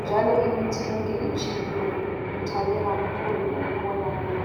njalo imithi yonke itshiphile ngithabe kakhulu ukubona lokho